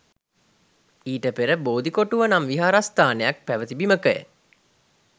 ඊට පෙර බෝධිකොටුව නම් විහාරස්ථානයක් පැවැති බිමක ය.